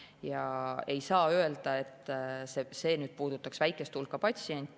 Ja ei saa öelda, et see puudutaks väikest hulka patsiente.